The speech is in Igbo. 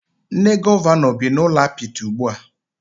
Nne Gọvanọ bị n'ụlọ apịtị ugbua